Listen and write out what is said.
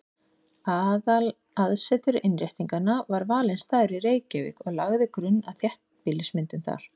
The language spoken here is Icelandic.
Aðalaðsetur Innréttinganna var valinn staður í Reykjavík og lagði grunn að þéttbýlismyndun þar.